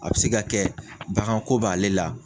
A be se ka kɛ baganko b'ale la